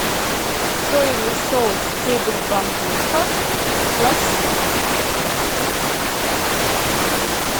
соевый соус стебель бамбука классик